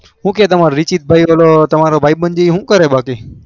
હું કે તમારો રીસી ભાઈ પેલો ભાઈ બંધ શું કરે બાકી